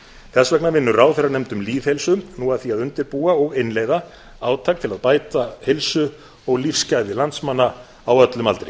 þess vegna vinnur ráðherranefnd um lýðheilsu nú að því að undirbúa og innleiða átak til að bæta heilsu og lífsgæði landsmanna á öllum aldri